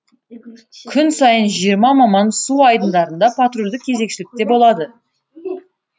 күн сайын жиырма маман су айдындарында патрульдік кезекшілікте болады